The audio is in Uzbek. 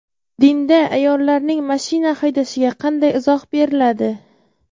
Dinda ayollarning mashina haydashiga qanday izoh beriladi?.